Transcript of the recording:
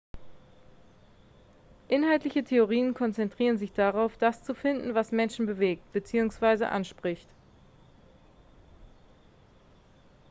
inhaltliche theorien konzentrieren sich darauf das zu finden was menschen bewegt beziehungsweise anspricht